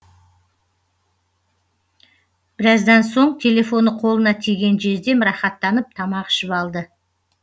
біраздан соң телефоны қолына тиген жездем рахаттанып тамақ ішіп алды